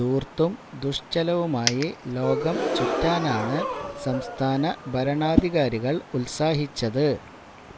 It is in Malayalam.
ധൂര്ത്തും ദുഷ്ച്ചെലവുമായി ലോകം ചുറ്റാനാണ് സംസ്ഥാന ഭരണാധികാരികള് ഉത്സാഹിച്ചത്